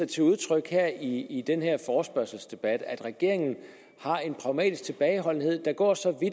til udtryk her i forespørgselsdebatten at regeringen har en pragmatisk tilbageholdenhed der går så